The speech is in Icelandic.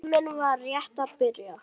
Tíminn var rétt að byrja.